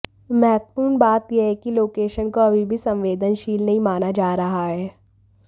महत्त्वपूर्ण बात यह है कि लोकेशन को अभी भी संवेदनशील नहीं माना जा रहा है